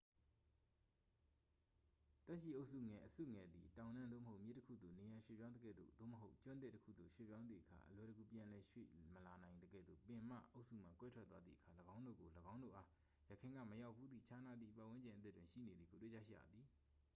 သက်ရှိအုပ်စုငယ် အစုငယ် သည် တောင်တန်း သို့မဟုတ် မြစ်တစ်ခုသို့ နေရာရွေ့ပြောင်းသကဲ့သို့ သို့မဟုတ် ကျွန်းသစ်တစ်ခုသို့ ရွေ့ပြောင်းသည့်အခါ အလွယ်တကူ ပြန်လည်ရွေ့ပြောင်းမလာနိုင်သကဲ့သို့ ပင်မအုပ်စုမှ ကွဲထွက်သွားသည့်အခါ ၎င်းတို့ကို ၎င်းတို့အား ယခင်ကမရောက်ဘူးသည့် ခြားနားသည့်ပတ်ဝန်းကျင်အသစ်တွင် ရှိနေသည်ကို တွေ့ရှိကြရသည်။